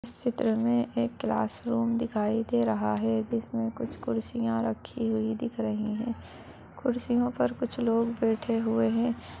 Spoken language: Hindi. चित्र में एक क्लास रूम दिखाई दे रहा है जिसमें कुछ कुर्सियां रखी गई दिख रही हैं कुर्सियों पर कुछ लोग बैठे हुए है।